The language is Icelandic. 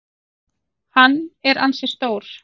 Hann er ansi stór.